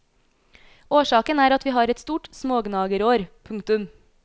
Årsaken er at vi har et stort smågnagerår. punktum